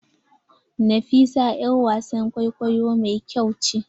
Nafisa yar wasan kwaikwayo mai kyau ce.